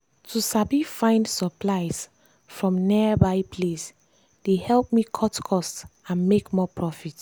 to sabi find supplies from nearby place dey help me cut cost and make more profit.